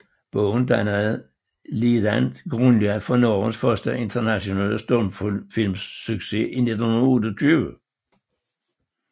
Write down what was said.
Bogen dannede ligeledes grundlag for Norges første internationale stumfilmsucces i 1928